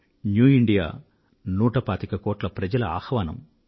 new India నూట పాతిక కోట్ల మంది దేశ ప్రజల ఆహ్వానం